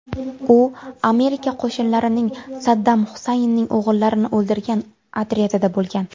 U Amerika qo‘shinlarining Saddam Husaynning o‘g‘illarini o‘ldirgan otryadida bo‘lgan.